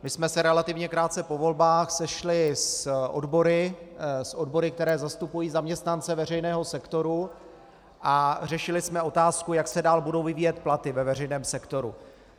My jsme se relativně krátce po volbách sešli s odbory, které zastupují zaměstnance veřejného sektoru, a řešili jsme otázku, jak se dál budou vyvíjet platy ve veřejném sektoru.